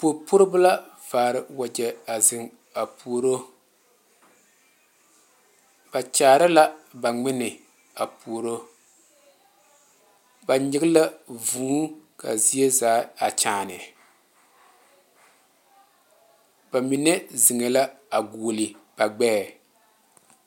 Pori puoribo la vaare wagye a zeŋ a pouri ba kaara la ba ngmenne a puori ba nyaŋ la vūū kaa zie zaa a kyaane ba mine zeŋe la a gɔgle ba gbɛɛ.